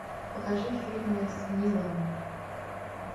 покажи фильмы с ниловым